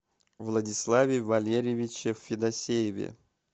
владиславе валерьевиче федосееве